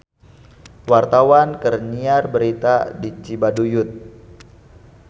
Wartawan keur nyiar berita di Cibaduyut